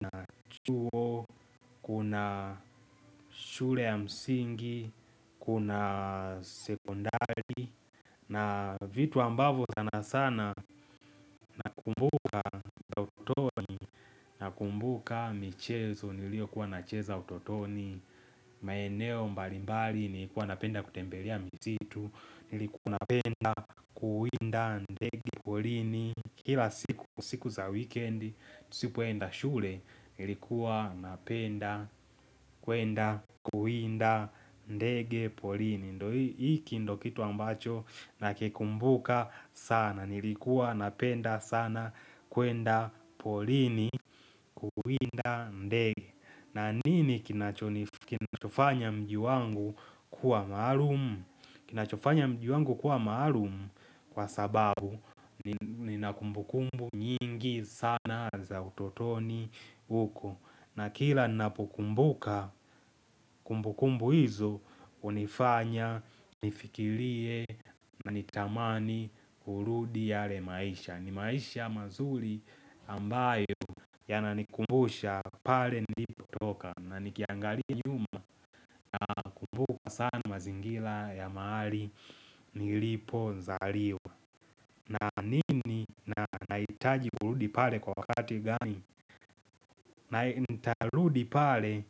na chuo kuna shule ya msingi Kuna sekondari na vitu ambavyo sana sana nakumbuka utotoni Nakumbuka michezo niliokuwa nacheza utotoni maeneo mbalimbali nilikuwa napenda kutembelea misitu Nilikuwa napenda kuwinda ndege porini Kila siku za wikendi Nisipoenda shule nilikuwa napenda kuenda kuwinda ndege porini ndo hiki ndio kitu ambacho nakikumbuka sana Nilikuwa napenda sana kuenda porini kuwinda ndege na nini kinacho kinachofanya mji wangu kuwa maalum Kinachofanya mji wangu kuwa maalumu kwa sababu Ninakumbukumbu nyingi sana za utotoni uko na kila napokumbuka kumbukumbu hizo hunifanya nifikirie na nitamani kurudi yale maisha ni maisha mazuri ambayo yananikumbusha pale nilipotoka na nikiangalia nyuma nakumbuka sana mazingira ya mahali nilipozaliwa naamini nahitaji kurudi pale kwa wakati gani na nitarudi pale.